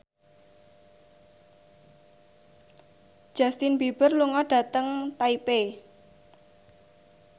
Justin Beiber lunga dhateng Taipei